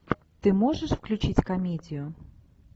ты можешь включить комедию